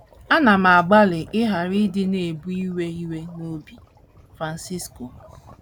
“ Ana m agbalị ịghara ịdị na - ebu iwe iwe n’obi. ” Francisco